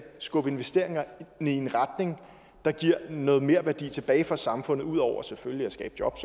skubbe investeringerne i en retning der giver noget merværdi tilbage for samfundet ud over selvfølgelig at skabe job